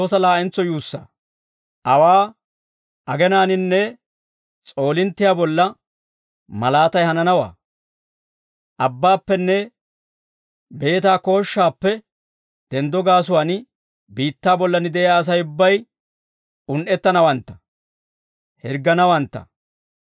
«Awaa, agenaaninne s'oolinttiyaa bolla malaatay hananawaa; abbaappenne beetaa kooshshaappe denddo gaasuwaan biittaa bollan de'iyaa Asay ubbay un"ettanawantta; hirgganawantta.